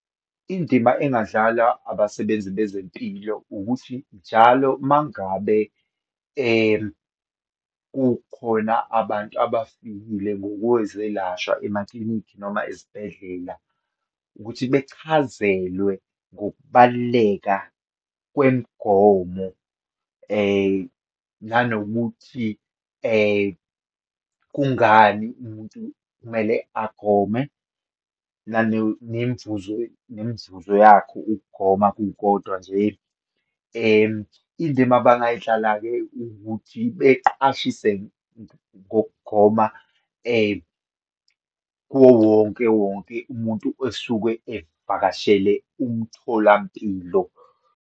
Indima engadlalwa abasebenzi bezempilo, ukuthi njalo uma ngabe kukhona abantu abafikile ngokwezelwasha emaklinikhi, noma ezibhedlela, ukuthi bechazelwe ngokubaluleka kwemigomo, nanokuthi kungani umuntu kumele agome nemvuzo, nemvuzo yakho ukugoma kukodwa nje. Indima abangayidlala-ke ukuthi, beqwashise ngokugoma kuwo wonke wonke umuntu osuke evakashele umtholampilo.